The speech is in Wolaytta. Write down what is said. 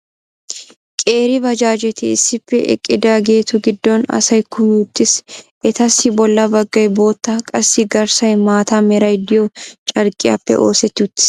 qeeri baajaajeti issippe eqqidaagetu giddon asay kumi uttiis. etassi bola bagay bootta qassi garssay maata meray diyo carqqiyappe oosseti uttiis.